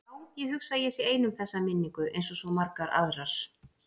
Já, ég hugsa að ég sé ein um þessa minningu einsog svo margar aðrar.